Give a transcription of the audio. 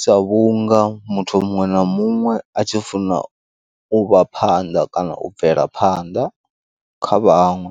Sa vhunga muthu muṅwe na muṅwe atshi funa u vha phanḓa kana u bvela phanḓa kha vhaṅwe,